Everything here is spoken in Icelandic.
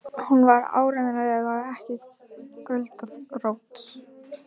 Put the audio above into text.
Hún var áreiðanlega ekki göldrótt.